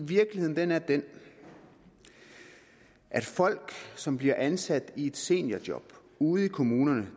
virkeligheden er den at folk som bliver ansat i et seniorjob ude i kommunerne